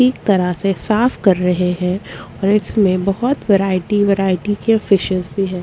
ठीक तरह से साफ कर रहे है और इसमें बहोत वैरायटी वैरायटी के फिशेस भी हैं।